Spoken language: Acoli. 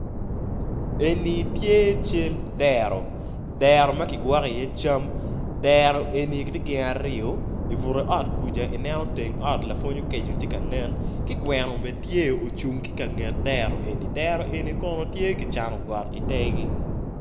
Eni tye cal dero, dero ma kigwoko iye cam, dero eni ti gin aryo, i bute ot kwuja i neno teng ot lapwony okeco ti ka nen, ki gweno bene tye ocung ki i ka nget dero eni dero eni kono tye ki cano got itegi